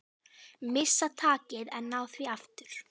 Missa takið en ná því aftur.